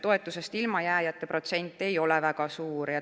Toetusest ilmajääjate protsent ei ole väga suur.